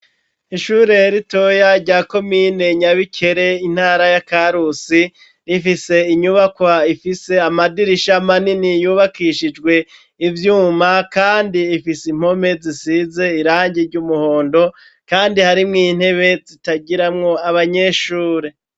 Ishure ritoya rya komine Nyabikere intara ya Karusi rifise inyubakwa ifise amadirisha manini yubakishijwe ivyuma kandi ifise impome zisize irangi ry'umuhondo kandi hari mw intebe zitagiramwo abanyeshure.